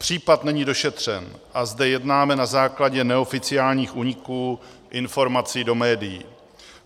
Případ není došetřen a zde jednáme na základě neoficiálních úniků informací do médií.